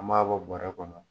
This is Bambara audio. An b'a bɔrɛ kɔnɔ.